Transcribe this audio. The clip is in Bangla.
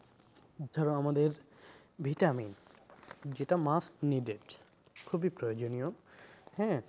ধরো আমাদের vitamin যেটা must needed খুবই প্রয়োজনীয় হ্যাঁ?